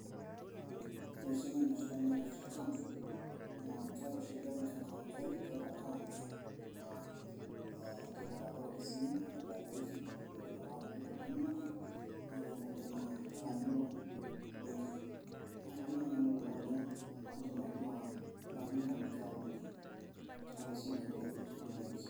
Ee ore esiai naipirta account naa keeta oshi embenki accounti enye keeta account na indim atabolo tesimu anaa mobile banking indim atipika ropiyani inonok neatai nkulie naa lasima peilo ,kanyor nanu kuna esimu ino naa tesimu ino ako ipik ropiyani.